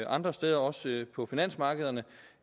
andre steder også på finansmarkederne